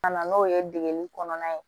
Ka na n'o ye degeli kɔnɔna ye